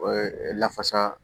O ye lafasa